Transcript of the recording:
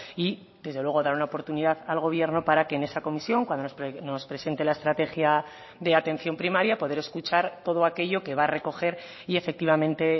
y desde luego dar una oportunidad al gobierno para que en esa comisión cuando nos presente la estrategia de atención primaria poder escuchar todo aquello que va a recoger y efectivamente